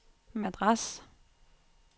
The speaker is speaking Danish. Madras